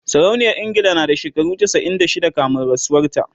sarauniyar ingila na da shekara chasa'in da shida kamin rasuwan ta